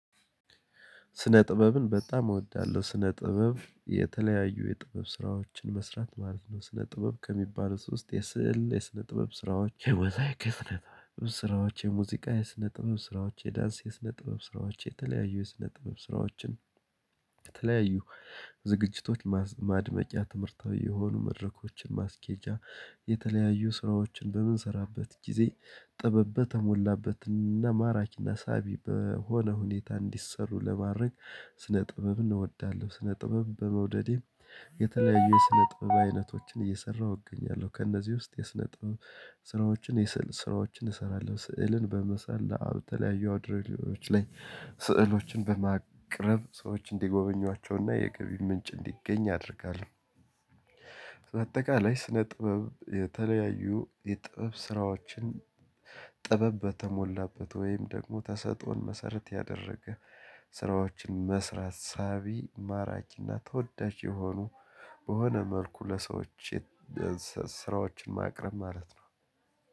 ስነ ጥበብን በጣም እወዳለሁ። ስነ ጥበብ የተለያዩ የጥበብ ስራዎችን መስራት ማለት ነው። ስነ ጥበብ ከሚባለው ውስጥ የስዕል የስነ ጥበብ ስራዎች። ስራዎች የሙዚቃ የስነ ጥበብ ስራዎች የዳንስ የስነ ጥበብ ስራዎች የተለያዩ የስነ ጥበብ ስራዎችን የተለያዩ ዝግጅቶች ማድመቂያ ትምህርታዊ የሆኑ መድረኮችን ማስኬጃ። የተለያዩ ስራዎችን በምንሰራበት ጊዜ ጥበብ በተሞላበት እና ማራኪና ሳቢ በሆነ ሁኔታ እንዲሰሩ ለማድረግ። ስነ ጥበብ እንወዳለን። ስነ ጥበብ በመውደዴ የተለያዩ የስነ ጥበብ አይነቶችን እየሰራሁ እገኛለሁ። ከእነዚህ ውስጥ የስነ ጥበብ ስራዎችን የስዕል ስራዎችን እሰራለሁ ስዕልን በመሳል ለተለያዩ አውደርእይዋች ላይ ስዕሎችን በማቅረብ ሰዎች እንዲጎበኟቸውና የገቢ ምንጭ እንዲገኝ አደርጋለሁ። በአጠቃላይ ስነ ጥበብ የተለያዩ የጥበብ ስራዎችን። ጥበብ በተሞላበት ወይም ደግሞ ተሰጦን መሰረት ያደረገ ስራዎችን መስራት ሳቢ ማራኪና ተወዳጅ የሆኑ በሆነ መልኩ ለሰዎች ስራዎችን ማቅረብ ማለት ነው